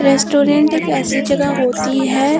Restaurant ऐक ऐसी जगह होती है।